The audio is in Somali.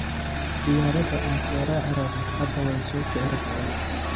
Diyarada aan sooracorabo hada waysokicirabtaa.